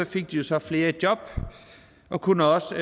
de jo så flere i job og kunne også